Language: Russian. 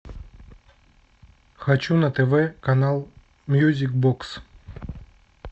хочу на тв канал мьюзик бокс